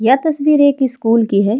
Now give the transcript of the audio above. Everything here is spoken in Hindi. यह तस्वीर एक स्कूल की हैं।